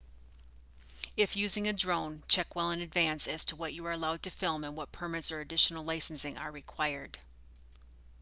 if using a drone check well in advance as to what you are allowed to film and what permits or additional licensing are required